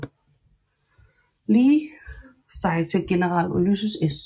Lee sig til general Ulysses S